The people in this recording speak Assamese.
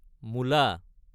মোলা